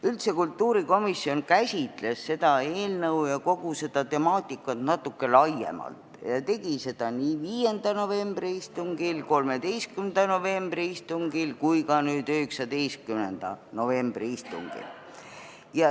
Üldse käsitles kultuurikomisjon seda eelnõu ja kogu seda temaatikat natukene laiemalt ning tegi seda nii 5. novembri istungil, 13. novembri istungil kui ka 19. novembri istungil.